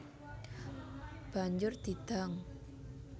Banjur di dang